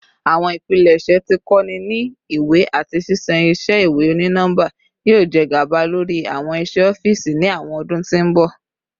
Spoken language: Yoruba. Awọn ipilẹṣẹ ti ko ni iwe ati ṣiṣan iṣẹ iwe oni nọmba yoo jẹ gaba lori awọn iṣe ọfiisi ni awọn ọdun ti n bọ